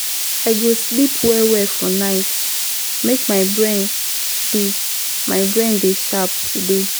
I go sleep well-well for night, make my brain dey my brain dey sharp today.